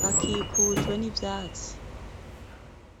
Bakikujwe n'ivyatsi.